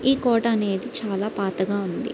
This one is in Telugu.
ఈ కోట అనేది చాలా పాతగా ఉంది.